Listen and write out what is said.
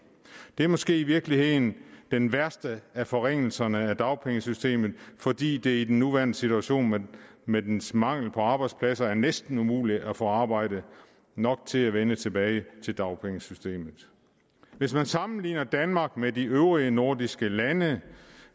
det er måske i virkeligheden den værste af forringelserne af dagpengesystemet fordi det i den nuværende situation med med dens mangel på arbejdspladser er næsten umuligt af få arbejdet nok til at vende tilbage til dagpengesystemet hvis man sammenligner danmark med de øvrige nordiske lande